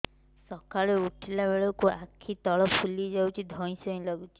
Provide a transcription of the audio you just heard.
ସକାଳେ ଉଠିଲା ବେଳକୁ ଆଖି ତଳ ଫୁଲି ଯାଉଛି ଧଇଁ ସଇଁ ଲାଗୁଚି